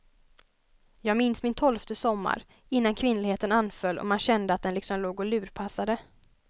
Jag minns min tolfte sommar, innan kvinnligheten anföll och man kände att den liksom låg och lurpassade.